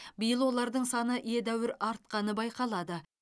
биыл олардың саны едәуір артқаны байқалады